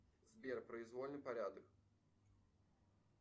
сбер произвольный порядок